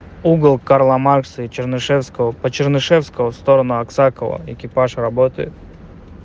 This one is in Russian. угол карла маркса и чернышевского по чернышевского в сторону аксакова экипаж работает